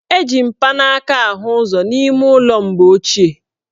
Eji mpanaaka ahụ ụzọ n' ime ụlọ mgbe ochie.